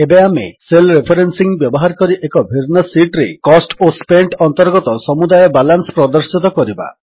ଏବେ ଆମେ cell referencing ବ୍ୟବହାର କରି ଏକ ଭିନ୍ନ ଶୀଟ୍ ରେ କୋଷ୍ଟ ଓ ସ୍ପେଣ୍ଟ ଅନ୍ତର୍ଗତ ସମୁଦାୟ ବାଲାନ୍ସ ପ୍ରଦର୍ଶିତ କରିବା